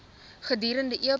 gestuurde e pos